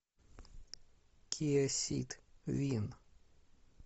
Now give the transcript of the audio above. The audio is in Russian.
киа сид вин